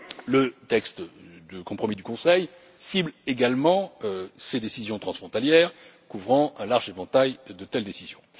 Le texte de compromis du Conseil cible également ces décisions transfrontalières couvrant un large éventail de telles décisions.